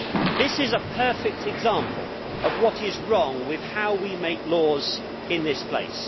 This is a perfect example of what is wrong with how we make laws in this place.